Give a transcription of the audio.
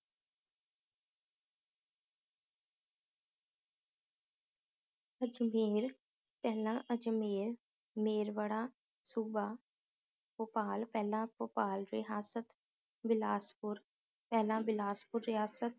ਅਜਮੇਰ ਪਹਿਲਾਂ ਅਜਮੇਰ ਮੇਰਵੜਾ ਸੂਬਾ, ਭੋਪਾਲ ਪਹਿਲਾਂ ਭੋਪਾਲ ਰਿਹਾਸਤ, ਬਿਲਾਸਪੁਰ ਪਹਿਲਾਂ ਬਿਲਾਸਪੁਰ ਰਿਹਾਸਤ